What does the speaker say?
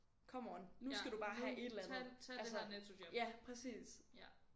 Come on nu skal du bare have et eller andet altså ja præcis